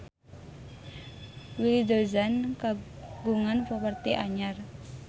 Willy Dozan kagungan properti anyar